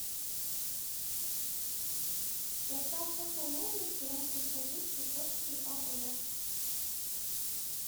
в состав какой области раньше входил чукотский ао